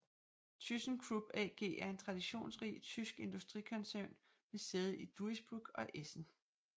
ThyssenKrupp AG er en traditionsrig tysk industrikoncern med sæde i Duisburg og Essen